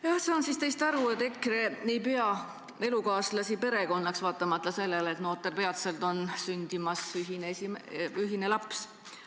Ma saan teist nii aru, et EKRE ei pea elukaaslast perekonnaks, vaatamata sellele, et noortel on peatselt sündimas ühine laps.